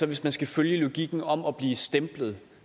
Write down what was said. hvis man skal følge logikken om at blive stemplet